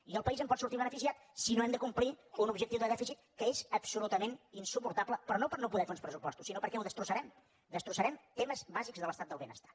i el país en pot sortir beneficiat si no hem de complir un objectiu de dèficit que és absolutament insuportable però no per no poder fer uns pressupostos sinó perquè ho destrossarem destrossarem temes bàsics de l’estat del benestar